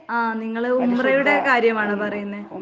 ആഹ് നിങ്ങള് ഉംറയുടെ കാര്യമാണോ പറയുന്നേ?